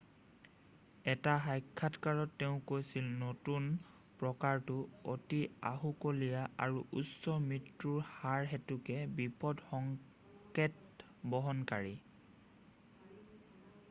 "এটা সাক্ষাৎকাৰত তেওঁ কৈছিল নতুন প্ৰকাৰটো "অতি আহুকলীয়া আৰু উচ্চ মৃত্যুৰ হাৰ হেতুকে বিপদ সংকেত বহনকাৰী।" "